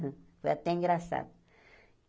Foi até engraçado.